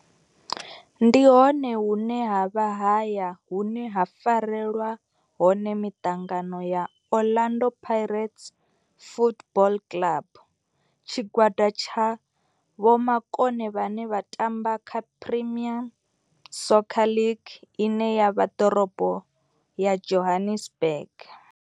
Ndi hone hune havha haya hune ha farelwa hone mitangano ya Orlando Pirates Football Club. Tshigwada tsha vhomakone vhane vha tamba kha Premier Soccer League ine ya vha Dorobo ya Johannesburg.